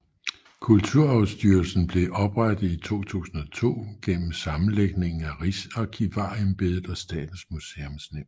Kulturarvsstyrelsen blev oprettet i 2002 gennem sammenlægningen af Rigsarkivarembedet og Statens Museumsnævn